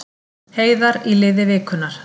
Heiðar í liði vikunnar